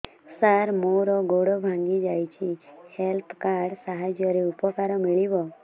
ସାର ମୋର ଗୋଡ଼ ଭାଙ୍ଗି ଯାଇଛି ହେଲ୍ଥ କାର୍ଡ ସାହାଯ୍ୟରେ ଉପକାର ମିଳିବ